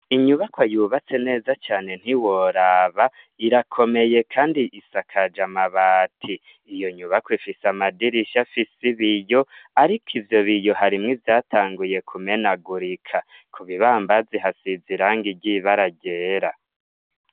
Inyubakwa yubatse neza cane ntiworaba irakomeye kandi isakaje amabati. Iyo nyubakwa ifise amadirisha afise ibiyo ariko ivyo biyo harimwo ivyatanguye kumenagurika ku bibambazi hasize irangi ry'ibara ryera.